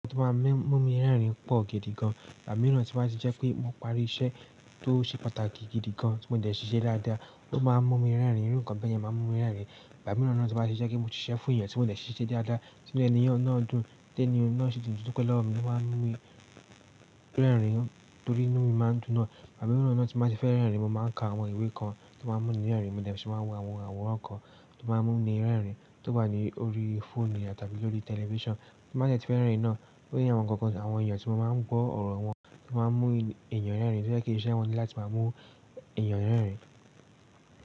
Nkan tí ó máa ń mú mi rẹ́rìn-ín pọ̀ gidi gan, igbà mìíràn tí ó máa ń ti jẹ́ pé mo parí iṣẹ́ tó ṣe pàtàkì gidi gan tí mo dẹ̀ ṣiṣẹ́ dáadáa, ló máa ń mú mi rẹ́rìn-ín. Irú ǹkan bẹ́ẹ̀ yẹn má ń mú mi rẹ́rìn-ín. Àmì mìíràn náà tí ó máa ń ṣe jẹ́ pé mo ti ṣiṣẹ́ fún èèyàn tí mo dẹ̀ ṣiṣẹ́ dáadáa, tí ó jẹ́ ènìyàn ọ̀nà ọ̀dún, tẹ́ní o, ọ̀nà ìṣe tuntun tí ó pẹ́ lọ́ mi ni ó máa ń mú mi rẹ́rìn-ín torí inú mi máa ń dún naá. Àmì mìíràn náà tí mó báa ń ti fẹ́ rẹ́rìn-ín, mo máa ń ka àwọn ìwé kan tí ó máa ń mú mi rẹ́rìn-ín, mo dẹ̀ ṣì máa wo àwọn àwòrán kan tí ó máa ń mú mi rẹ́rìn-ín, tó wá ní orí fóònù tàbí orí tẹlifíṣàn tí mo bàá de ti fẹ́ rẹ́rìn-ín náà. Ó ní àwọn ǹkan kan tí àwọn èèyàn tí mo máa ń gbọ́ ọ̀rọ̀ wọn tí máa ń mú èèyàn rẹ́rìn-ín, tí ó jẹ́ kí iṣẹ́ wọn ní láti máa mú èèyàn rẹ́rìn-ín.